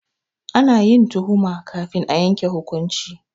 Ana yin tuhuma kafin a yanke hukunci.